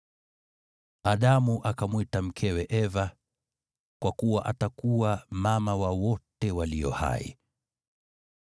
Adamu akamwita mkewe Eva, kwa kuwa atakuwa mama wa wote walio hai.